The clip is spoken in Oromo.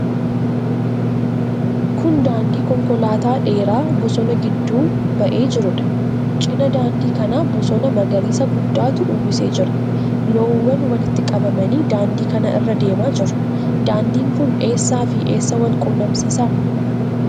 Kun daandii konkolaataa dheeraa bosona gidduu ba'ee jiruudha. Cina daandii kanaa bosona magariisa guddaatu uwwisee jira. Loowwan walitti qabamanii daandii kana irra deemaa jiru. Daandiin kun eessaafi eessa wal quunnamsiisa?